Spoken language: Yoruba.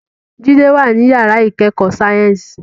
Jide wà ní yàrá ìkẹ́kọ̀ọ́ sáyẹ́ǹsì